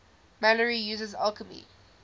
malory uses alchemy